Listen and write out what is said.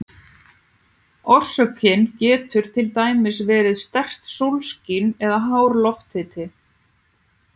Orsökin getur til dæmis verið sterkt sólskin eða hár lofthiti.